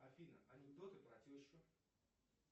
афина анекдоты про тещу